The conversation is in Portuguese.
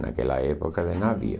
Naquela época de navio.